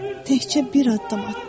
Təkcə bir addım atdı.